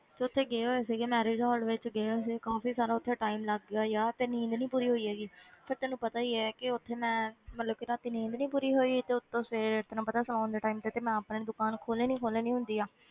ਤੇ ਉੱਥੇ ਗਏ ਹੋਏ ਸੀਗੇ marriage hall ਵਿੱਚ ਗਏ ਹੋਏ ਸੀ ਕਾਫ਼ੀ ਸਾਰਾ ਉੱਥੇ time ਲੱਗ ਗਿਆ ਯਾਰ ਤੇ ਨੀਂਦ ਨੀ ਪੂਰੀ ਹੋਈ ਹੈਗੀ ਫਿਰ ਤੈਨੂੰ ਪਤਾ ਹੀ ਹੈ ਕਿ ਉੱਥੇ ਮੈਂ ਮਤਲਬ ਕਿ ਰਾਤੀ ਨੀਂਦ ਨੀ ਪੂਰੀ ਹੋਈ, ਤੇ ਉੱਤੋਂ ਸਵੇਰੇ ਤੈਨੂੰ ਪਤਾ ਸੌਣ ਦੇ time ਤੇ ਤੇ ਮੈਂ ਆਪਣੇ ਦੁਕਾਨ ਖੋਲਣੀ ਖੋਲਣੀ ਹੁੰਦੀ ਆ,